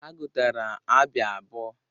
Ha gotara Abịa abụọ.